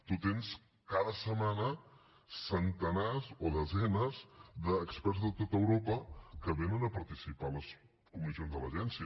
tu tens cada setmana centenars o desenes d’experts de tot europa que vénen a participar a les comissions de l’agència